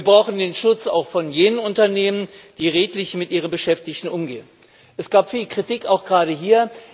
Wir brauchen den Schutz auch von jenen Unternehmen, die redlich mit ihren Beschäftigten umgehen. Es gab viel Kritik, auch gerade hier.